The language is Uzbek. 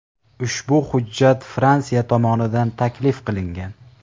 Ushbu hujjat Fransiya tomonidan taklif qilingan.